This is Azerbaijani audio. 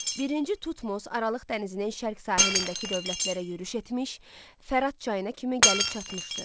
Birinci Tutmos Aralıq dənizinin şərq sahilindəki dövlətlərə yürüş etmiş, Fərat çayına kimi gəlib çatmışdı.